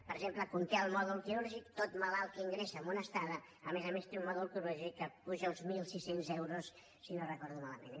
per exemple conté el mòdul quirúrgic tot malalt que ingressa en una estada a més a més té un mòdul quirúrgic que puja a uns mil sis cents euros si no ho recordo malament